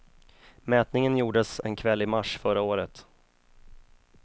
Mätningen gjordes en kväll i mars förra året.